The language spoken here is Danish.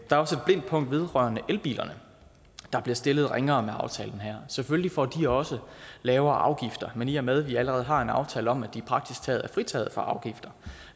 er også et blindt punkt vedrørende elbilerne der bliver stillet ringere med aftalen her selvfølgelig får de også lavere afgifter men i og med at vi allerede har en aftale om at de praktisk taget er fritaget for afgifter